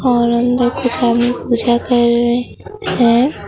और अन्दर कुछ आदमी पूजा कर रहे हैं।